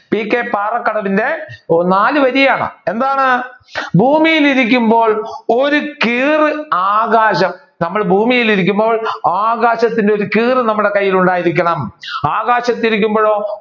P K പാറക്കടവിന്റെ നാല് വരിയാണ് എന്താണ് ഭൂമിയിൽ ഇരിക്കുമ്പോൾ ഒരു കീർ ആകാശം നമ്മൾ ഭൂമിയിൽ ഇരിക്കുമ്പോൾ ആകാശത്തിന്റെ ഒരു കീർ നമ്മുടെ കയ്യിൽ ഉണ്ടായിരിക്കണം ആകാശത്തിൽ ഇരിക്കുമ്പഴോ